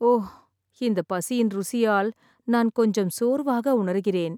ஓ, இந்த பசியின் ருசியால் நான் கொஞ்சம் சோர்வாக உணர்கிறேன்.